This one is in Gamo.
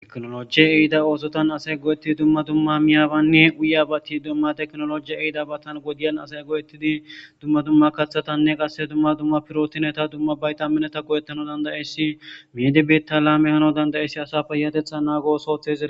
Teknolojiye ehida oosotan asay go7ettidi dumma dumma miyaabanni uye abati dumma teknolojiya eida battan godiyan asay go7ettidi dumma dumma kaththatanne qasse dumma dumma pirootineta dumma bayta mineta go7ettano dandayeyssi meedi betta laame hano dandayessi asa feyatetha naagosootheza.